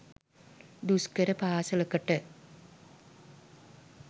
දුෂ්කර පාසලකට